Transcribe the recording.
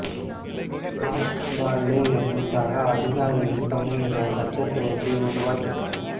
George Barlow எனும் சக அதிகாரியின் துணையுடன் சட்டத்தொகுப்பை உருவாக்கினார்